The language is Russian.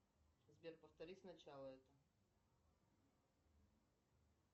сбер повтори сначала это